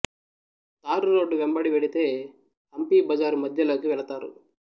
తారు road వెంబడి వెడితే హంపి బజారు మధ్యలోకి వెళతారు